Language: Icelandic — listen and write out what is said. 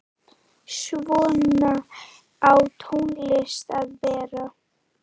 Svona á tónlist að vera.